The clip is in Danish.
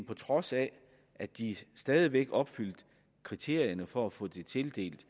på trods af at de stadig væk opfyldte kriterierne for at få tildelt